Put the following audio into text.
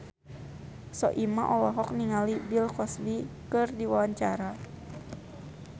Soimah olohok ningali Bill Cosby keur diwawancara